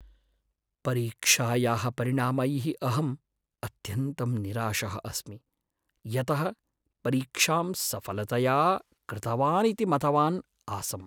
परीक्षायाः परिणामैः अहं अत्यन्तं निराशः अस्मि, यतः परीक्षां सफलतया कृतवानिति मतवान् आसम्।